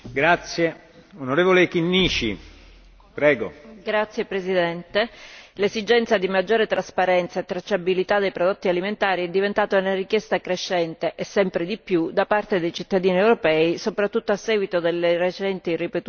Signor Presidente, onorevoli colleghi, l'esigenza di maggiore trasparenza e tracciabilità dei prodotti alimentari è diventata una richiesta crescente, e sempre di più, da parte dei cittadini europei, soprattutto a seguito delle recenti e ripetute frodi alimentari, non ultima quella della carne di cavallo.